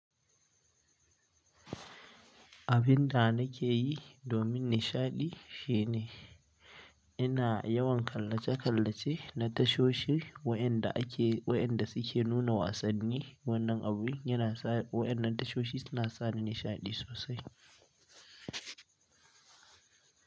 Abin da nake yi domin nishaɗi shine ina yawan kallaca-kalla ce na tashoshi waɗanda suke nuna wasanni. Wannan abun yana sa waɗannan tashoshi suna sa ni nishaɗi sosai.